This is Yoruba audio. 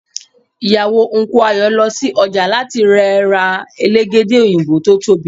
ìyàwó Unku Ayo lọ sí ọjà láti rẹ̀ ra Elégédé òyìnbó tó tóbi